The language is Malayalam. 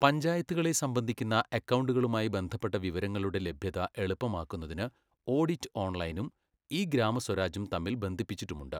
പഞ്ചായത്തുകളെ സംബന്ധിക്കുന്ന അക്കൗണ്ടുകളുമായി ബന്ധപ്പെട്ട വിവരങ്ങളുടെ ലഭ്യത എളുപ്പമാക്കുന്നതിന് ഓഡിറ്റ് ഓൺലൈനും ഇ ഗ്രാമസ്വരാജും തമ്മിൽ ബന്ധിപ്പിച്ചിട്ടുമുണ്ട്.